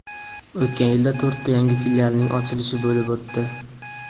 O‘tgan yilda to‘rtta yangi filialning ochilishi bo‘lib o‘tdi.